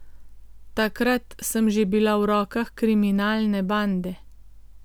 Takrat sem že bila v rokah kriminalne bande.